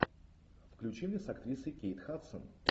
включи мне с актрисой кейт хадсон